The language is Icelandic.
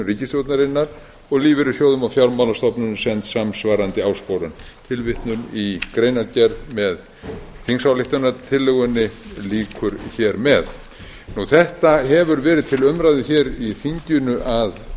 ríkisstjórnarinnar og lífeyrissjóðum og fjármálastofnunum send samsvarandi áskorun tilvitnun í greinargerð með þingsályktunartillögunni lýkur hér með þetta hefur verið til umræðu hér í þinginu að